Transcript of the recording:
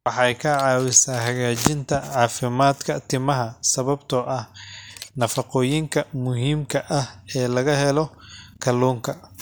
Waxay ka caawisaa hagaajinta caafimaadka timaha sababtoo ah nafaqooyinka muhiimka ah ee laga helo kalluunka.